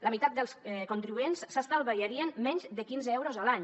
la meitat dels contribuents s’estalviarien menys de quinze euros a l’any